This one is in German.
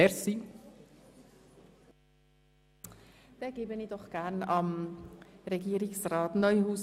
Ich erteile das Wort Regierungsrat Neuhaus.